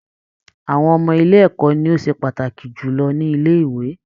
Àwọn ọmọ-ilẹ̀ ẹ̀kọ́ ni ó ṣe pàtàkì jù lọ ní ilẹ́ - ìwé.